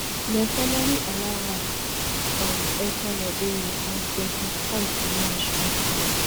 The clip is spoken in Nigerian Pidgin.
dem finally allow her um enta liberia on twenty-five march afta